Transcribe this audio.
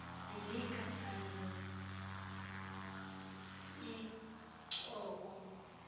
dilika thando incoko